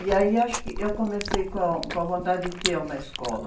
E aí eu acho que, eu comecei com, com a vontade de ter uma escola.